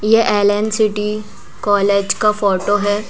ये LN city college का photo है।